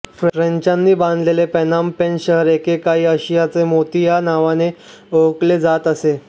फ्रेंचांनी बांधलेले Phnom Penh शहर एके काळी आशियाचा मोती ह्या नावाने ओळखले जात असे